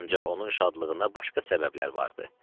Ancaq onun şadlığına başqa səbəblər vardı.